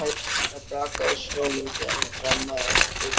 Það brakaði í snjónum þegar hann þrammaði eftir götunni.